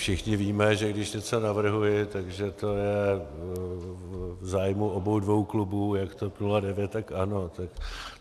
Všichni víme, že když něco navrhuji, tak že to je v zájmu obou dvou klubů, jak TOP 09, tak ANO.